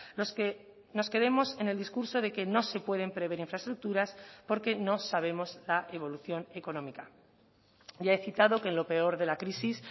los que nos quedemos en el discurso de que no se pueden prever infraestructuras porque no sabemos la evolución económica ya he citado que en lo peor de la crisis